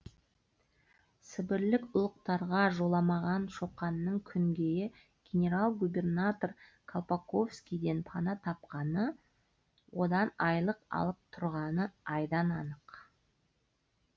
сібірлік ұлықтарға жоламаған шоқанның күнгейдегі генерал губернатор колпаковскийден пана тапқаны одан айлық алып тұрғаны айдан анық